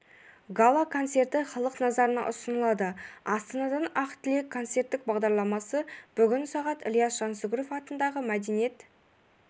гала-концерті халық назарына ұсынылады астанадан ақ тілек концерттік бағдарламасы бүгін сағат ілияс жансүгіров атындағы мәдениет